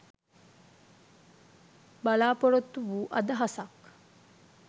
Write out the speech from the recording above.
බලා‍පොරොත්තු වූ අදහසක්